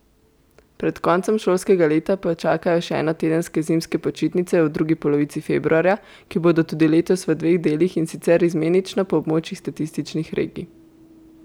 Pred koncem šolskega leta pa jih čakajo še enotedenske zimske počitnice v drugi polovici februarja, ki bodo tudi letos v dveh delih, in sicer izmenično po območjih statističnih regij.